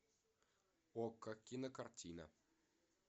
окко кинокартина